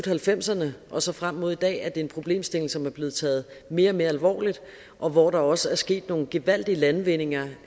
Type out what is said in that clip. halvfemserne og så frem mod i dag og det er en problemstilling som er blevet taget mere og mere alvorligt og hvor der også er sket nogle gevaldige landvindinger